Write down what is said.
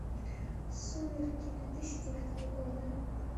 сумерки две тысячи девятого года